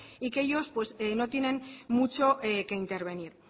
y que ellos no tienen mucho que intervenir